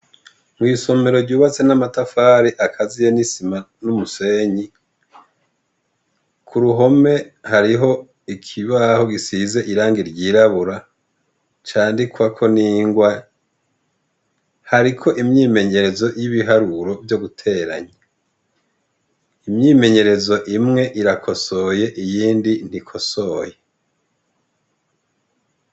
Mw'isomero ryubatse n'isima n'umusenyi, kuruhome hariho ikibaho gisize irangi ry'irabura rwandikwako n'ingwa hariko imyimenyerezo y'ibiharuro vyo guteranya. imyimenyerezo imwe irakosoye iyindi ntikosoye.